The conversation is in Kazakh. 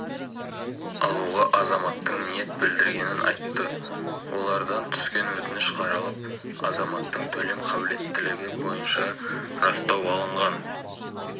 алуға азаматтың ниет білдіргенін айтты олардан түскен өтініш қаралып азаматтың төлем қабілеттілігі бойынша растау алынған